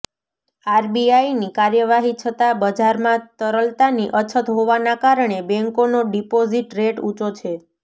આરબીઆઇની કાર્યવાહી છતાં બજારમાં તરલતાની અછત હોવાના કારણે બેન્કોનો ડિપોઝિટ રેટ ઊંચો છે